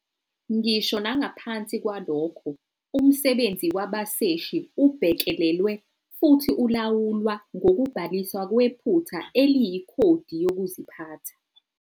Ngisho nangaphansi kwalokho, umsebenzi wabaseshi ubhekelelwe futhi ulawulwa ngokubhaliswa kwephutha eliyikhodi yokuziphatha.